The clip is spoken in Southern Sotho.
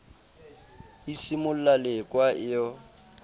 e simolla lekwa e yo